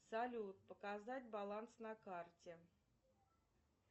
салют показать баланс на карте